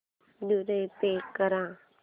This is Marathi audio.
द्वारे पे कर